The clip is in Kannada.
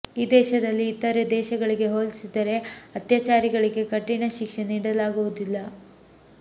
ಈ ದೇಶದಲ್ಲಿ ಇತರೆ ದೇಶಗಳಿಗೆ ಹೋಲಿಸಿದರೆ ಅತ್ಯಾಚಾರಿಗಳಿಗೆ ಕಠಿಣ ಶಿಕ್ಷೆ ನೀಡಲಾಗುವುದಿಲ್ಲ